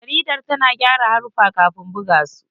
Jaridar tana gyara haruffa kafin buga su.